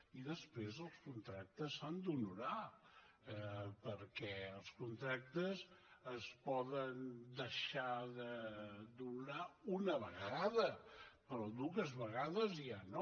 i després els contractes s’han d’honorar perquè els contractes es poden deixar d’honorar una vegada però dues vegades ja no